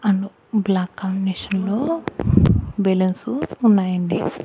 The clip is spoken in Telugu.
అండ్ బ్లాక్ కాంబినేషన్ లో బెలూన్స్ ఉన్నాయి అండి.